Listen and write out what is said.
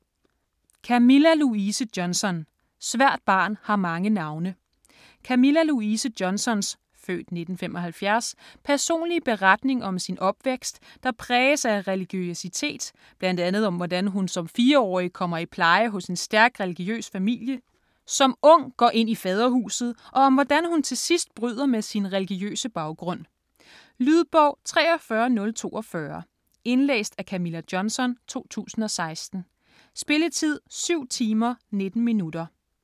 Johnson, Camilla Louise: Svært barn har mange navne Camilla Louise Johnsons (f. 1975) personlige beretning om sin opvækst, der præges af religiøsitet, bl.a. om hvordan hun som fireårig kommer i pleje hos en stærk religiøs familie, som ung går ind i Faderhuset, og om hvordan hun til sidst bryder med sin religiøse baggrund. Lydbog 43042 Indlæst af Camilla Johnson, 2016. Spilletid: 7 timer, 19 minutter.